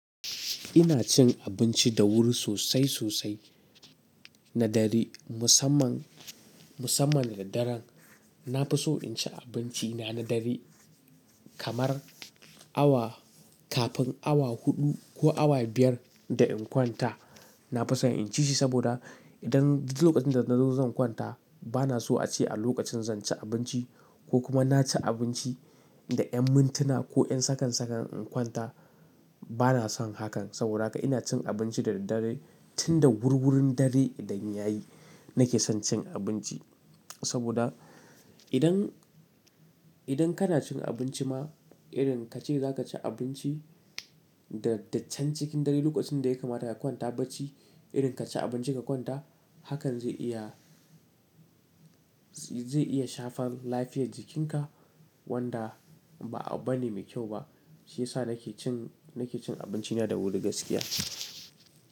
Ina cin abinci da wuri sosai sosai na dare. Musamman, musamman da daren na fi so in ci abinci na na dare kamar awa kafin awa huɗu ko awa biyar da in kwanta. Na fi son in ci shi saboda idan lokacin da nazo zan kwanta bana so a ci a lokacin zan ci abinci ko kuma na ci abinci da yan mintuna ko yan sakan-sakan in kwanta bana son hakan. Saboda haka ina cin abinci da daddare tun da wuri wurin dare idan yayi nake son cin abinci. Saboda idan, idan kana cin abinci ma irin kace zaka ci abinci da daccan cikin dare lokacin da ya kamata ka kwanta bacci irin kaci abinci ka kwanta hakan zai iya, zai iya shafar lafiyar jikinka wanda ba, abu bane mai kyau ba. Shi yasa nake cin, nake cin abinci na da wuri gaskiya.